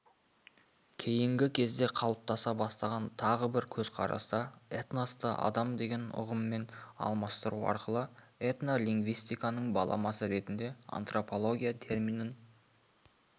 кейінгі кезде қалыптаса бастаған тағы бір көзқараста этносты адам деген ұғыммен алмастыру арқылы этнолингвистиканың баламасы ретінде антропология терминін